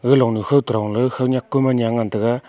ga longnue khowto dongley khawnyak kom anya ngan taiga.